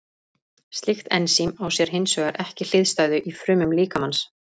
Slíkt ensím á sér hins vegar ekki hliðstæðu í frumum líkamans.